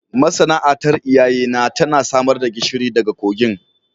Masana'antar iyayena tana samar da gishiri daga kogin